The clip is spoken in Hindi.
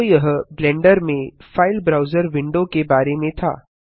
तो यह ब्लेंडर में फाइल ब्राउजर विंडो के बारे में था